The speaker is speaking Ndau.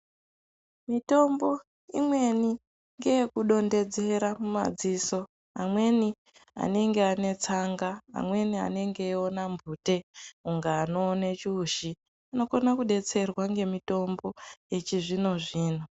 Mutombo imweni ngeyekudontedzera madziso amweni anenga ane tsanga amweni anenge eiona mpute inga anoone chiushi unokone kudetserwa ngemutombo yechizvino zvino.